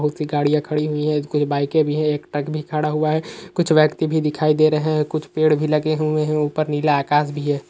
बहुत सी गाड़ीयां खड़ी हुई हैं कुछ बाइकें भी हैं एक ट्रक भी खड़ा हुआ है। कुछ व्यक्ति भी दिखाई दे रहें हैं कुछ पेड़ भी लगे हुए हैं ऊपर नीला आकास भी है।